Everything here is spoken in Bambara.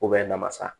namasa